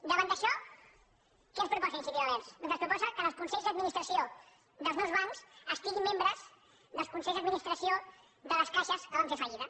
davant d’això què ens proposa iniciativa verds doncs ens proposa que en els consells d’administració dels nous bancs hi hagi membres dels consells d’adminis·tració de les caixes que van fer fallida